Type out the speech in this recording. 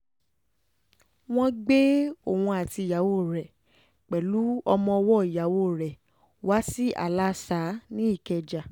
wọ́n gbé e òun àti ìyàwó rẹ̀ pẹ̀lú ọmọ ọwọ́ ìyàwó rẹ̀ wá sí aláàsa ní ìkẹjà